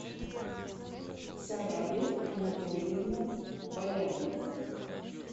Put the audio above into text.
сараби анатольевна балянова